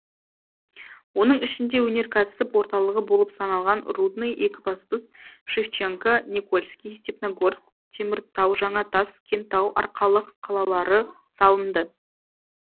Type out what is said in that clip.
оның ішінде өнеркәсіп орталығы болып саналған рудный екібастұз шевченко никольский степногорск теміртау жаңатас кентау арқалық қалалары салынды